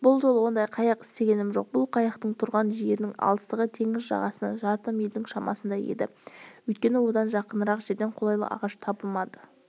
бұл жолы ондай қайық істегенім жоқ бұл қайықтың тұрған жерінің алыстығы теңіз жағасынан жарты мильдің шамасындай еді өйткені одан жақынырақ жерден қолайлы ағаш табылмады